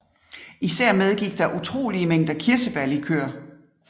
Især medgik der utrolige mængder kirsebærlikør